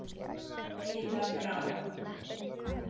Iða Brá.